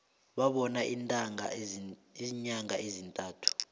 bakhona iinyanga ezintathu